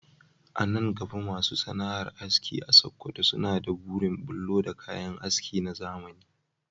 A nan gaba masu sana’ar aski a Sakkwato suna da burin bullo da kayan aski na zamani